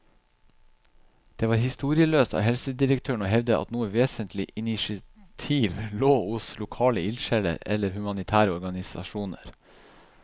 Det var historieløst av helsedirektøren å hevde at noe vesentlig initiativ lå hos lokale ildsjeler eller humanitære organisasjoner.